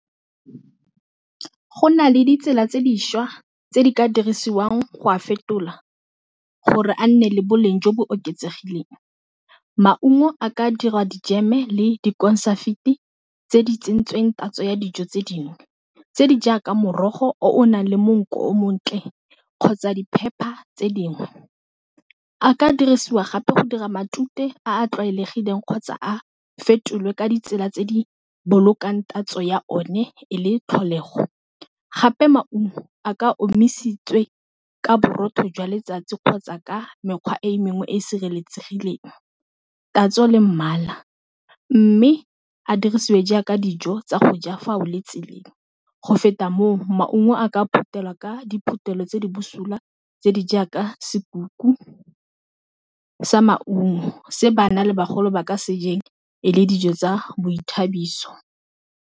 Go na le ditsela tse di šwa tse di ka dirisiwang go a fetola gore a nne le boleng jo bo oketsegileng maungo a ka dira dijeme le dikonsafiti tse di tsentsweng tatso ya dijo tse dingwe tse di jaaka morogo o nang le monko o o montle kgotsa di-pepper tse dingwe. A ka dirisiwa gape go dira matute a a tlwaelegileng kgotsa a fetolwe ka ditsela tse di bolokang tatso ya one e le tlholego. Gape maungo a ka omisitswe ka borotho jwa letsatsi kgotsa ka mekgwa e mengwe e e sireletsegileng tatso le mmala mme a dirisiwe jaaka dijo tsa go ja fa o le tseleng, go feta moo maungo a ka phuthelwa ka diphuthelo tse di busula tse di jaaka sokuku sa maungo se bana le bagolo ba ka se jeng e le dijo tsa boithabiso.